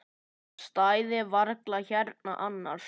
Ég stæði varla hérna annars.